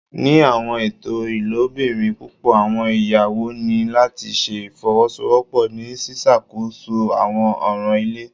Ni awọn eto ilobirin pupọ awọn iyawo ni lati ṣe ifowosowopo ni ṣiṣakoso awọn ọran ile